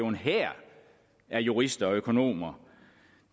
en hær af jurister og økonomer